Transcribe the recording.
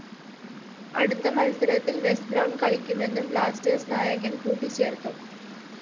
അടുത്ത മത്സരത്തില്‍ Wes Brown കളിക്കുമെന്നും ബ്ലാസ്റ്റേഴ്സ്‌ നായകന്‍ കൂട്ടിച്ചേര്‍ത്തു